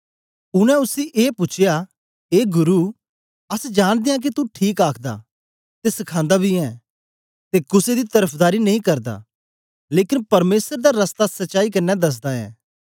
उनै उसी ए पूछया ए गुरु अस जांनदे आं के तू ठीक आखदा ते सखांदा बी ऐं ते कुसे दी तरफदारी नेई करदा लेकन परमेसर दा रस्ता सच्चाई कन्ने दसदा ऐं